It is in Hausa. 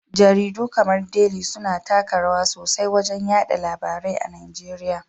Jaridu kamar Deli suna taka rawa sosai wajen yaɗa labarai a Nigeriya.